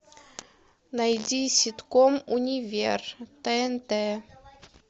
найди ситком универ тнт